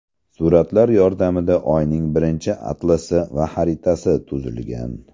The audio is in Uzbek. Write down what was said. Suratlar yordamida Oyning birinchi atlasi va xaritasi tuzilgan.